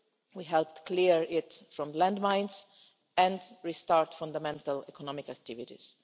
We helped clear it of landmines and restart fundamental economic activities.